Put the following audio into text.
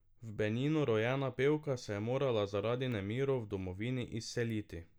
V Beninu rojena pevka se je morala zaradi nemirov v domovini izseliti.